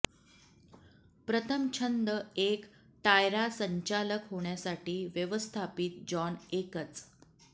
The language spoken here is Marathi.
प्रथम छंद एक टायरा संचालक होण्यासाठी व्यवस्थापित जॉन एकच